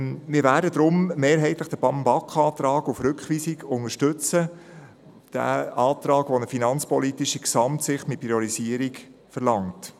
Deshalb werden wir mehrheitlich den Antrag der BaK auf Rückweisung unterstützen, den Antrag also, der eine finanzpolitische Gesamtsicht mit Priorisierung verlangt.